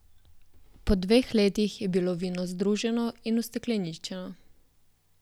Po dveh letih je bilo vino združeno in ustekleničeno.